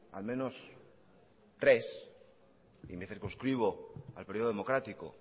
al menos tres y me circunscribo al periodo democrático